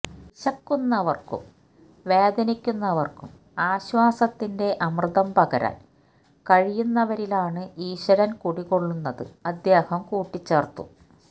വിശക്കുന്നവര്ക്കും വേദനിക്കുന്നവര്ക്കും ആശ്വാസത്തിന്റെ അമൃതം പകരാന് കഴിയുന്നവരിലാണ് ഈശ്വരന് കുടികൊള്ളുന്നത് അദ്ദേഹം കൂട്ടിച്ചേര്ത്തു